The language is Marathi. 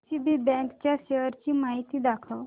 डीसीबी बँक च्या शेअर्स ची माहिती दाखव